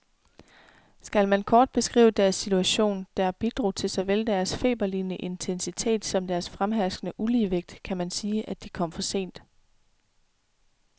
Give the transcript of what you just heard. Skal man kort beskrive deres situation, der bidrog til såvel deres feberlignende intensitet som deres fremherskende uligevægt, kan man sige, at de kom for sent.